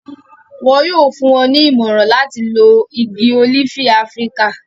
wọn yóò fún wọn ní ìmọ̀ràn láti lo igi ólífì áfíríkà